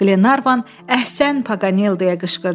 Glenarvan, əhsən, Pakanel! deyə qışqırdı.